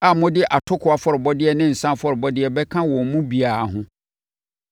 a mode atokoɔ afɔrebɔdeɛ ne nsã afɔrebɔdeɛ bɛka wɔn mu biara ho.